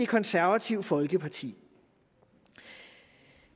konservative folkeparti